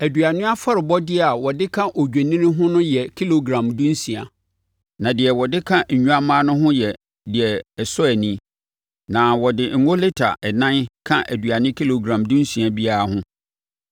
Aduane afɔrebɔdeɛ a wɔde ka odwennini no ho yɛ kilogram dunsia, na deɛ wɔde ka nnwammaa no ho yɛ deɛ ɛsɔ ani, na ɔde ngo lita ɛnan ka aduane kilogram dunsia biara ho.